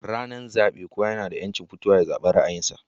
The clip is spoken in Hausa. Ranar zabe kowa nada yanci zaban ra'ayin sa